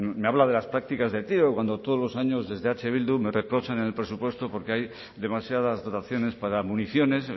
me habla de las prácticas de tiro cuando todos los años desde eh bildu me reprochan en el presupuesto porque hay demasiadas dotaciones para municiones